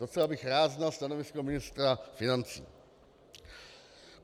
Docela bych rád znal stanovisko ministra financí.